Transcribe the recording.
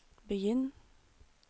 begynn